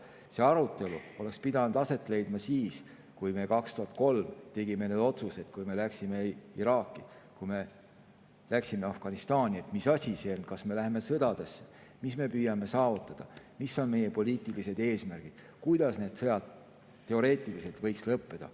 See arutelu oleks pidanud aset leidma siis, kui me 2003. aastal tegime need otsused, kui me läksime Iraaki, kui me läksime Afganistani, et mis asi see on, et kas me läheme sõtta, mida me püüame saavutada, mis on meie poliitilised eesmärgid, kuidas need sõjad teoreetiliselt võiks lõppeda.